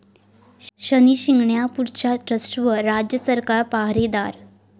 शनी शिंगणापूरच्या ट्रस्टवर राज्य सरकार पाहारे'दार'